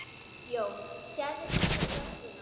Jón: Sérðu stundum lögguna?